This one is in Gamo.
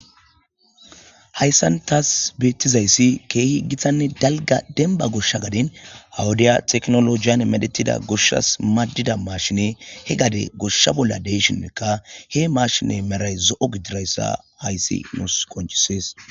Hayissani tassi benitizayisi kehi gitta nne daligga demibba gosha gadeni wodiya tekinologeni medhetida goshasi madidda mashiney he gade gosha bolla deîshinika he mashinne medhayi zoòo gididayisa hayisi nusi qoncisesi.